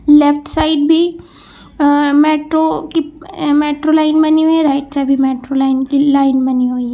Left side भी metro की metro line बनी हुई है और राइट साइड में मेट्रो लाइन की लाइन बनी हुई है।